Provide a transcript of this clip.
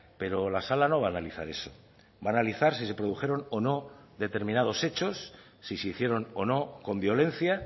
pero la sala no va analizar eso va a analizar si se produjeron o no determinados hechos si se hicieron o no con violencia